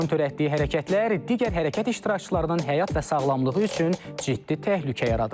Onun törətdiyi hərəkətlər digər hərəkət iştirakçılarının həyat və sağlamlığı üçün ciddi təhlükə yaradıb.